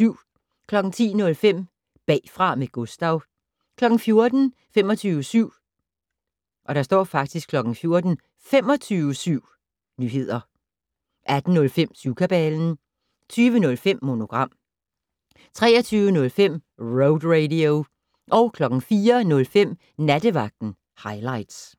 10:05: Bagfra med Gustav 14:00: 25syv Nyheder 18:05: Syvkabalen 20:05: Monogram 23:05: Road Radio 04:05: Nattevagten Highligts